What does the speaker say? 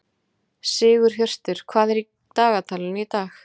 Sigurhjörtur, hvað er í dagatalinu í dag?